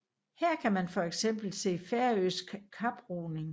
Her kan man for eksempel se færøsk kaproing